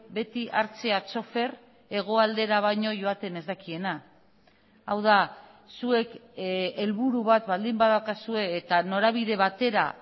beti hartzea txofer hegoaldera baino joaten ez dakiena hau da zuek helburu bat baldin badaukazue eta norabide batera